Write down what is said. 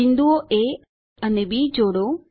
બિંદુઓ એ અને બી જોડો